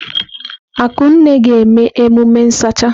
Akunne ga-eme emume nsacha.